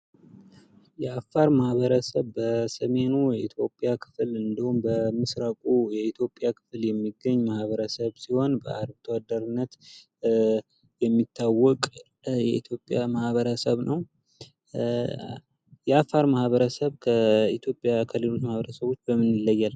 የአፋር ማህበረሰብ በሰሜኑ የኢትዮጵያ ክፍል እንዲሁም በምስራቁ የኢትዮጵያ ክፍል የሚገኝ ማህበረሰብ ሲሆን በአርብቶ አደርነት የሚታወቅ የኢትዮጵያ ማህበረሰብ ነው። የአፋር ማህበረሰብ ከኢትዮጵያ ከሌሎች ማህበረሰቦች በምን ይለያል?